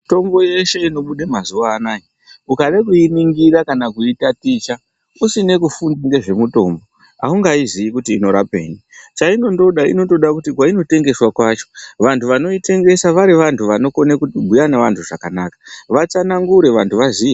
Mitombo yeshe inobude mazuvaanaya ukade kuyiningira kanakuyitaticha usine kufundire ngezvemutombo haungayizivi kuti inorapeyi, chayinoda inotoda kuti kwayinotengeswa kwacho vantu vanoyitengesa vari vantu vanokone kubhuya ngevantu zvakanaka vatsanagure vantu vaziye.